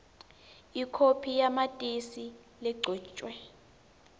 ikhophi yamatisi legcotjwe